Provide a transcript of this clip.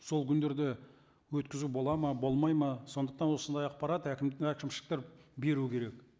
сол күндерде өткізу болады ма болмайды ма сондықтан осындай ақпарат әкім әкімшіліктер беру керек